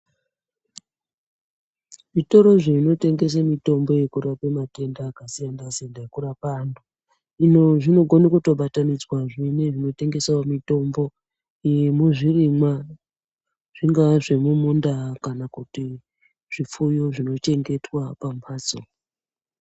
Zvitoro zvinotengese mitombo yekurape matenda akasiyana-siyana yekurapa antu, zvinogone kutobatanidzwazve nezvinotengesawo mutombo yezvirimwa. Zvingaa zvemumunda kana kuti zvipfuyo zvinochengetwa pamhatso